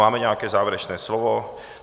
Máme nějaké závěrečné slovo?